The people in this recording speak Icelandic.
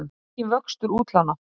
Enginn vöxtur útlána